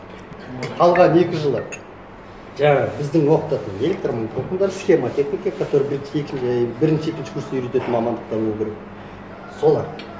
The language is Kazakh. қалған екі жылы жаңағы біздің оқытатын электр толқындар схемотехника который і бірінші екінші курста үйрететін мамандықтар болу керек солар